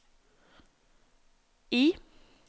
I